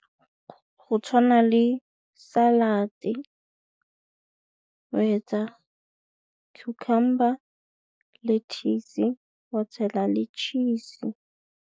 Go tshwana le salad-e, cucumber le lettuce wa tshela le cheese.